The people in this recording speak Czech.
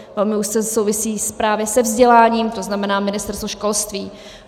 Velmi úzce souvisí právě se vzděláním, to znamená Ministerstvo školství.